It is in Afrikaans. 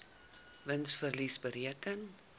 wins verlies bereken